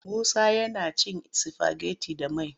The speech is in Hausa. Musa yana cin sifageti da mai.